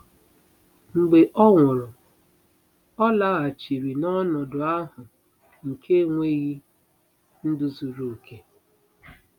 Mgbe ọ nwụrụ, ọ laghachiri n'ọnọdụ ahụ nke enweghị ndụ zuru oke.